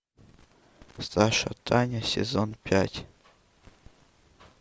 саша таня сезон пять